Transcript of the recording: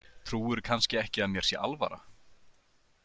Trúirðu kannski ekki að mér sé alvara?